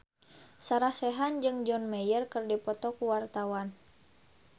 Sarah Sechan jeung John Mayer keur dipoto ku wartawan